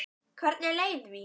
Hvernig leið því?